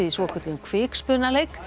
í svokölluðum